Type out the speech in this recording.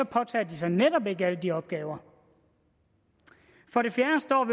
påtager de sig netop ikke alle de opgaver for det fjerde står